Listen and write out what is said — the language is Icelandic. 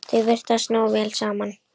Þau virðast ná vel saman.